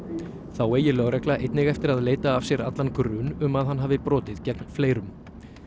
þá eigi lögregla einnig eftir að leita af sér allan grun um að hann hafi brotið gegn fleirum